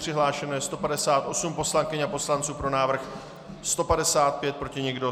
Přihlášeno je 158 poslankyň a poslanců, pro návrh 155, proti nikdo.